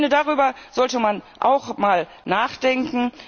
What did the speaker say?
Ich finde, darüber sollte man auch mal nachdenken.